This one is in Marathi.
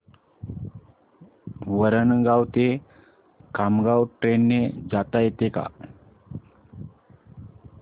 वरणगाव ते खामगाव ट्रेन ने जाता येतं का